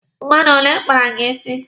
Mmadụ ole kpara gị isi?